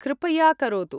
कृपया करोतु।